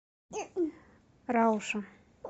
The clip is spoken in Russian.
рауша